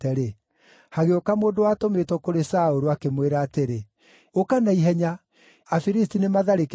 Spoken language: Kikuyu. hagĩũka mũndũ watũmĩtwo kũrĩ Saũlũ, akĩmwĩra atĩrĩ, “Ũka na ihenya! Afilisti nĩmatharĩkĩire bũrũri.”